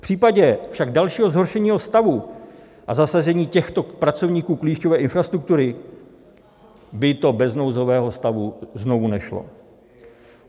V případě však dalšího zhoršení stavu a nasazení těchto pracovníků klíčové infrastruktury by to bez nouzového stavu znovu nešlo.